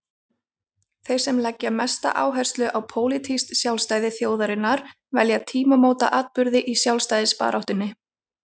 Þeir sem leggja mesta áherslu á pólitískt sjálfstæði þjóðarinnar velja tímamótaatburði í sjálfstæðisbaráttunni.